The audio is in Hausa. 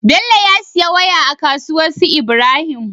Bello ya siya waya a kasuwar su ibrahim